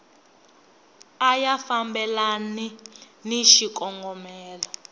a ya fambelani ni xikongomelo